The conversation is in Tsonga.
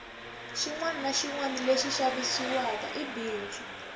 xinwana na xinwana lexi xavisiwaka i bindzu